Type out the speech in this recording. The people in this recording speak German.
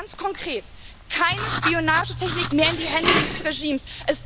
Und ganz konkret Keine Spionagetechnik mehr in die Hände dieses Regimes.